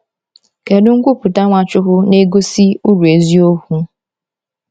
Kedu nkwupụta Nwachukwu na-egosi uru eziokwu?